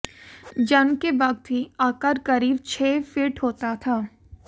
जन्म के वक्त ही आकार करीब छह फीट होता था